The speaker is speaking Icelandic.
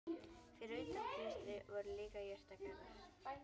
Fyrir utan klaustrið voru líka jurtagarðar.